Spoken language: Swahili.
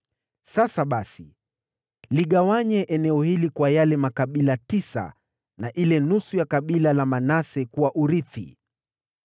sasa basi, ligawanye eneo hili kwa yale makabila tisa na ile nusu ya kabila la Manase kuwa urithi.”